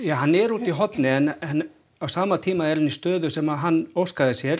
hann er úti í horni en á sama tíma í stöðu sem hann óskaði sér